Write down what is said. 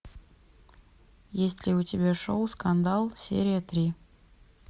есть ли у тебя шоу скандал серия три